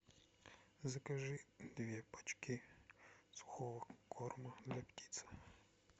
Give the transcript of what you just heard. закажи две пачки сухого корма для птиц